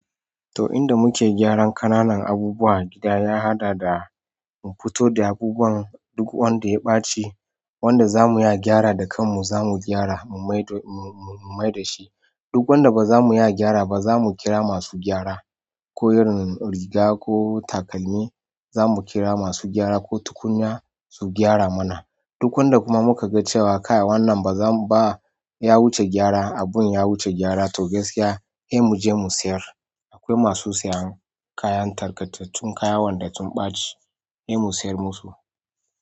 To, inda muke gyaran ƙananan abubuwa a gida ya haɗa da mu fito da abubuwan duk wanda ya ɓaci. Wanda za mu iya gyara da kanmu za mu gyara, mu mai da shi. Duk wanda ba za mu iya gyara ba za mu kira masu gyara. Ko irin riga ko takalmi za mu kira masu gyara ko tukunya su gyara mana. Duk wanda kuma mu ka gan cewa kai wannan ya wuce gyara abin ya wuce gyara to gaskiya sai mu je mu siyar. Akwai masu sayan kayan tarkatattun, kayan wanda sun ɓaci, sai mu sayar musu.